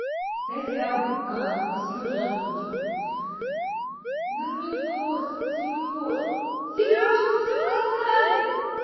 дайте а а серёже озвучу верни торс серёж серёж мы всё просрали